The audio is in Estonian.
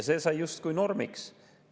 See sai justkui normiks.